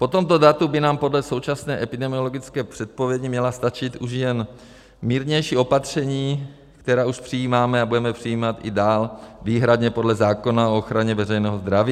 Po tomto datu by nám podle současné epidemiologické předpovědi měla stačit už jen mírnější opatření, která už přijímáme a budeme přijímat i dál výhradně podle zákona o ochraně veřejného zdraví.